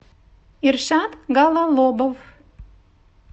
иршат гололобов